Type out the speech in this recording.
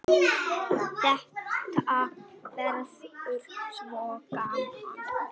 Þetta verður svo gaman.